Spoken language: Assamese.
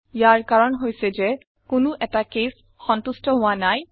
ইয়াৰ কাৰণ হৈছে যে কোনো এটা কেচেছ সন্তুস্ত হোৱা নাই